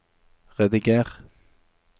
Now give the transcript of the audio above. rediger